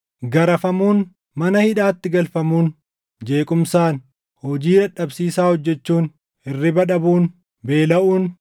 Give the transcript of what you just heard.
garafamuun, mana hidhaatti galfamuun, jeequmsaan, hojii dadhabsiisaa hojjechuun, hirriba dhabuun, beelaʼuun,